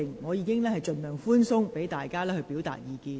我已盡量寬鬆，讓議員表達意見。